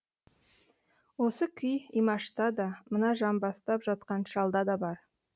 осы күй имашта да мына жамбастап жатқан шалда да бар